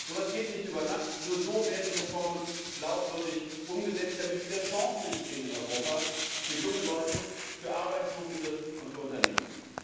So etwas geht nicht über Nacht, nur so werden Reformen glaubwürdig umgesetzt, damit wieder Chancen entstehen in Europa für junge Leute, für Arbeitsuchende und für Unternehmen.